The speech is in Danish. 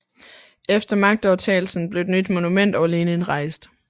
Efter magtovertagelsen blev et nyt monument over Lenin rejst